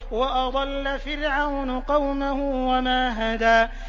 وَأَضَلَّ فِرْعَوْنُ قَوْمَهُ وَمَا هَدَىٰ